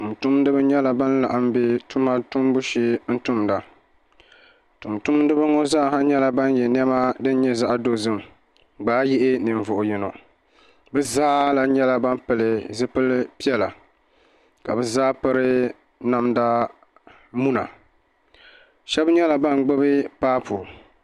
tumtumdiba nyɛla ban laɣam bɛ tuma shee n tumda tumtumdiba ŋo zaa nyɛla ban yɛ niɛma ka di nyɛ zaɣ dozim gbaai yihi ninvuɣu yino bi zaa lahi nyɛla ban pili zipili piɛla ka bi zaa piri namda muna shab nyɛla ban gbubi paapu